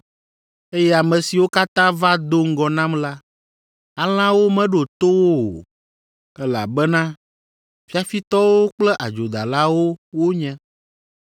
eye ame siwo katã va do ŋgɔ nam la, alẽawo meɖo to wo o, elabena fiafitɔwo kple adzodalawo wonye.